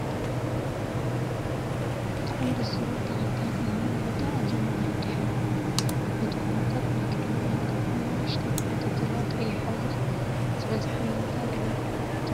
ብጣዕሚ ደስ ዝብል ተክልታት ዝመልኦ ቦታ ኣብ ዘሎ ናይ ድሕሪይኣ ዓበይቲ ጎማታት ናይ ቅድሚይኣ ድማ ኣናእሽተይ ጎማታት ዘለዋ ቀይሕ ሕብሪ ዝበዛሓን ንምንታይ ኣገልግሎት ትውዕል?